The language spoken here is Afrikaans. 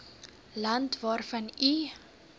land waarvan u